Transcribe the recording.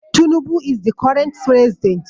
tunubu is the current president